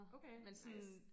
Okay nice